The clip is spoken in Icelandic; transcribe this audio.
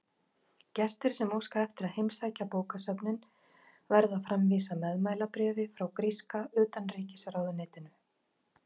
Gestir sem óska eftir að heimsækja bókasöfnin verða að framvísa meðmælabréfi frá gríska utanríkisráðuneytinu.